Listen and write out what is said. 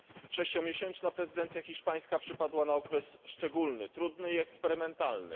Sześciomiesięczna prezydencja hiszpańska przypadła na okres szczególny trudny i eksperymentalny.